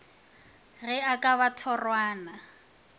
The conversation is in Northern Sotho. ge e ka ba thorwana